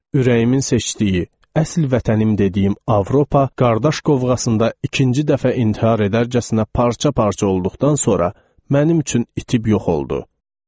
Ürəyimin seçdiyi, əsl vətənim dediyim Avropa qardaş qovğasında ikinci dəfə intihar edərcəsinə parça-parça olduqdan sonra mənim üçün itib yox oldu.